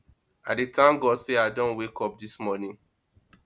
i dey thank god sey i don wake up dis morning